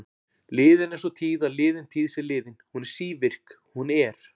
Liðin er sú tíð að liðin tíð sé liðin, hún er sívirk, hún er.